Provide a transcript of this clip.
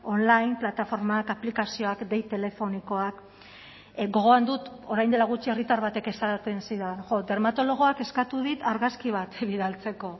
online plataformak aplikazioak dei telefonikoak gogoan dut orain dela gutxi herritar batek esaten zidan jo dermatologoak eskatu dit argazki bat bidaltzeko